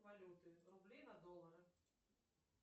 валюты рубли на доллары